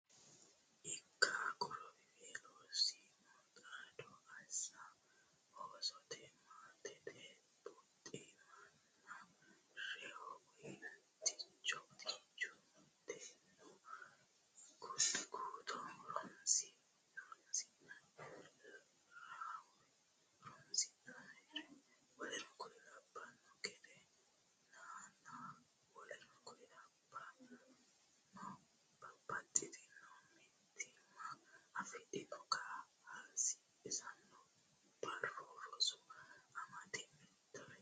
ikka Qorowiweelo siimu xaado assa Osote maatete buximanna reyo Uticho mitteennu guto horonsi ra w k l gede nanna w k l Babbaxxitino mitiima afidhino kaa hasiissanno Barru Rosi amado Mitore.